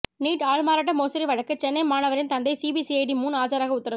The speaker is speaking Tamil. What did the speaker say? நீட் ஆள்மாறாட்ட மோசடி வழக்கு சென்னை மாணவரின் தந்தை சிபிசிஐடி முன் ஆஜராக உத்தரவு